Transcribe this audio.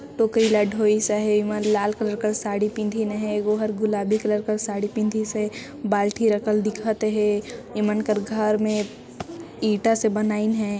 टोकरी ल ढोई सहे ए मन लाल कलर का साड़ी पिंधीन है एगो गुलाबी कलर का साड़ी पिंधी से बाल्टी रखल दिखत है इ मन कर घर में ईटा से बनाईन हे।